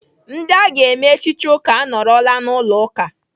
Ndị aga eme echichi ụka anọọrọla n'ụlọ ụka.